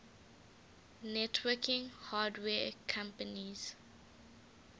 networking hardware companies